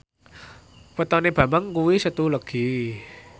wetone Bambang kuwi Setu Legi